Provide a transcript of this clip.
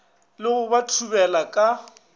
le go ba thubela ka